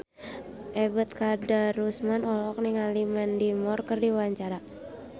Ebet Kadarusman olohok ningali Mandy Moore keur diwawancara